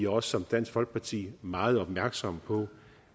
også som dansk folkeparti meget opmærksomme på